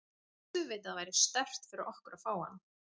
Auðvitað væri sterkt fyrir okkur að fá hann.